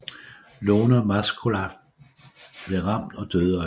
Lone Maslocha blev ramt og døde øjeblikkeligt